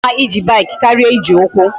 O ka mma ije bike karia Iji ukwu